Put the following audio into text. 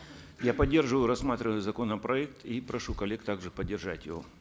я поддерживаю рассматриваемый законопроект и прошу коллег также поддержать его